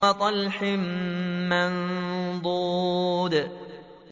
وَطَلْحٍ مَّنضُودٍ